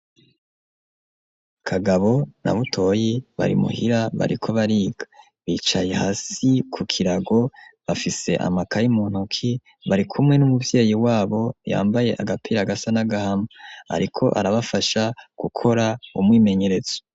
Kagabo na Butoyi bari muhira bariko bariga bicaye hasi ku kirago bafise amakayi muntuki bari kumwe n'umuvyeyi wabo yambaye agapira gasa n'agahama ariko arabafasha gukora umwimenyeretso.